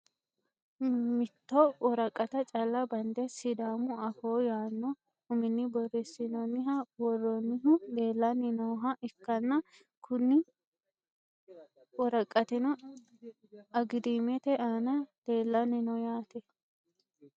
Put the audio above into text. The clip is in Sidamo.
mitto woraqata calla bande sidaamu afoo yaanno uminni borreessinoonniha worroonnihu leelanni nooha ikkanna, kuni woraqatino agidaamete aana leelanni no yaate.